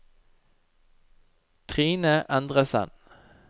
Trine Endresen